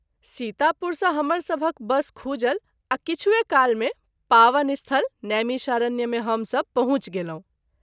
सीतापुर सँ हमर सभ हक बस खूजल आ किछुए काल मे पावन स्थल नैमिषारण्य मे हम सभ पहुँच गेलहुँ।